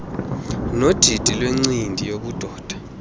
nodidi lwencindi yobudoda